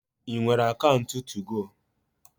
I nwere akaunt tugo?